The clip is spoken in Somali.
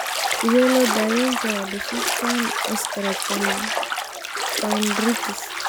Sidee loo daweyn karaa discecans osteochondritis?